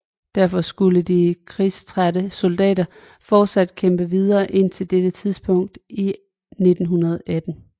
Derfor skulle de krigstrætte soldater fortsat kæmpe videre indtil dette tidspunkt i 1918